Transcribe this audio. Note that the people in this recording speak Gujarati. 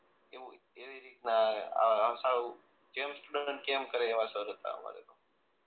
એવું એવી રીત ના આમ સાવ જેમ સ્ટુડન્ટ કે એમ કરે એવા સર હતા અમારે તો